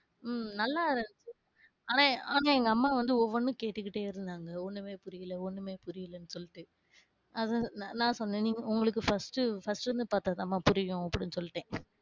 உம் நல்லா ஆனா ஆனா எங்க அம்மா வந்து ஒன்னொன்னும் கேட்டுகிட்டே இருந்தாங்க ஒன்னுமே புரியல, ஒன்னுமே புரியல சொல்லிட்டு. அதான் நான் சொன்னேன் உங்களுக்கு first, first ல இருந்து பாத்தா தான் மா புரியும் அப்டினு சொல்லிட்டேன்.